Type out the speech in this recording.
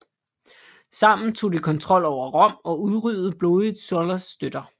Sammen tog de kontrol over Rom og udryddede blodigt Sullas støtter